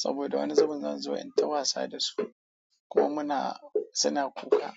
Saboda wani zaman zan zo in ta wasa da su kuma muna suna kuka.